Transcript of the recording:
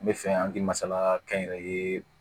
N bɛ fɛ an bɛ masala kɛnyɛrɛye